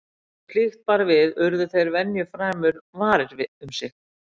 Þegar slíkt bar við urðu þeir venju fremur varir um sig.